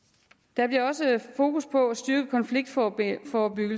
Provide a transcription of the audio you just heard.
der bliver også fokus på at styrke konfliktforebyggelse og